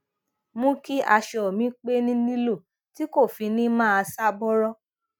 mú kí aṣọ mi pẹ ni lilo ti ko fi ni maa ṣa bọrọ